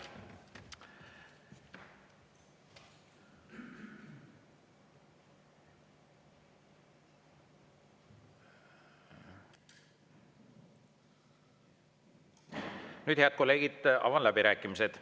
Nüüd, head kolleegid, avan läbirääkimised.